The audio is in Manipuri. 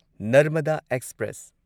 ꯅꯔꯃꯗꯥ ꯑꯦꯛꯁꯄ꯭ꯔꯦꯁ